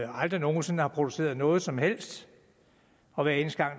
aldrig nogen sinde har produceret noget som helst og hver eneste gang